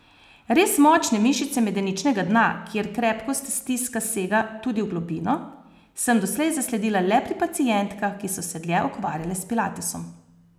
Res močne mišice medeničnega dna, kjer krepkost stiska sega tudi v globino, sem doslej zasledila le pri pacientkah, ki so se dlje ukvarjale s pilatesom.